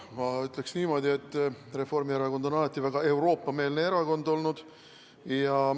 Ma ütleks niimoodi, et Reformierakond on alati väga Euroopa-meelne erakond olnud.